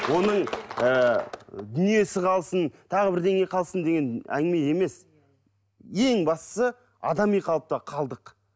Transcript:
оның ыыы дүниесі қалсын тағы бірдеңе қалсын деген әңгіме емес ең бастысы адами қалыпта қалдық